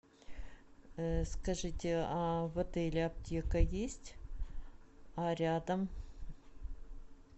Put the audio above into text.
скажите а в отеле аптека есть а рядом